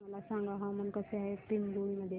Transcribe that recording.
मला सांगा हवामान कसे आहे पिंगुळी मध्ये